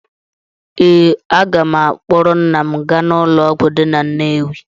Ee, aga m akpọrọ nna m gaa ụlọọgwụ dị na Nnewi.